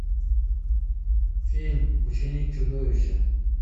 фильм ученик чудовища